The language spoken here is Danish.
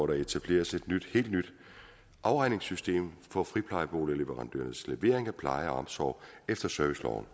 der etableres et helt nyt afregningssystem for friplejeboligleverandørernes levering af pleje og omsorg efter serviceloven